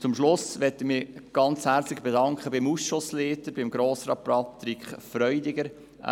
Zum Schluss möchte ich mich ganz herzlich beim Ausschussleiter Patrick Freudiger bedanken.